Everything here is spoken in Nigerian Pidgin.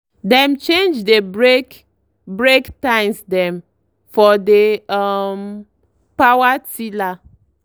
dem change dey break break tines dem for dey um power tiller.